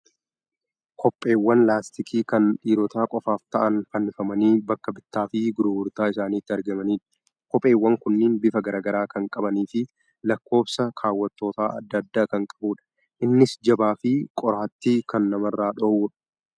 Kopheewwan laastikii kan dhiirota qofaaf ta'an fannifamanii bakka bittaa fi gurgurtaa isaaniitti argamanidha. Kopheewwan kunneen bifa garaa garaaa kan qabanii fi lakkoofsa kaawwattootaa adda addaa kan qabudha. Innis jabaa fi qoraattii kan namarraa dhowwuudha.